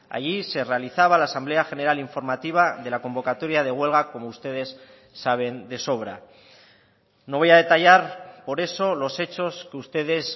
allí se realizaba la asamblea general informativa de la convocatoria de huelga como ustedes saben de sobra no voy a detallar por eso los hechos que ustedes